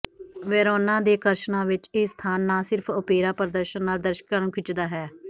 Verona ਦੇ ਆਕਰਸ਼ਣਾਂ ਵਿਚ ਇਹ ਸਥਾਨ ਨਾ ਸਿਰਫ ਓਪੇਰਾ ਪ੍ਰਦਰਸ਼ਨ ਨਾਲ ਦਰਸ਼ਕਾਂ ਨੂੰ ਖਿੱਚਦਾ ਹੈ